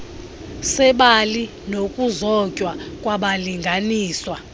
sebali nokuzotywa kwabalinganiswa